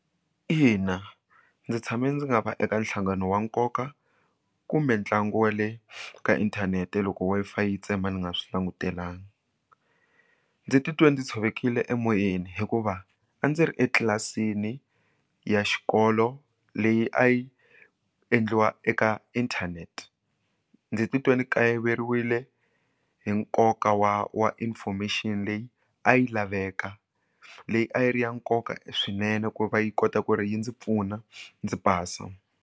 Ina, ndzi tshame ndzi nga va eka nhlangano wa nkoka kumbe ntlangu wa le ka inthanete loko wi-fi yi tsema ndzi nga swi langutelangi ndzi titwa ndzi tshovekile emoyeni hikuva a ndzi ri etlilasini ya xikolo leyi a yi endliwa eka inthanete ndzi titwa ndzi kayiveriwile hi nkoka wa wa information leyi a yi laveka leyi a yi ri ya nkoka swinene ku va yi kota ku ri yi ndzi pfuna ndzi pasa.